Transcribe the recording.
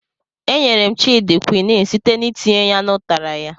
E nyere m Child kwinin site n'itinye ya n' ụtara ya.